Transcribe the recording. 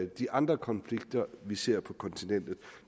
de andre konflikter vi ser på kontinentet